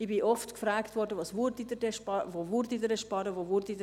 Ich wurde oft gefragt, wo wir dann sparen würden.